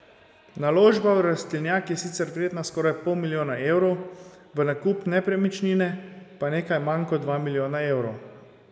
Naložba v rastlinjak je sicer vredna skoraj pol milijona evrov, v nakup nepremičnine pa nekaj manj kot dva milijona evrov.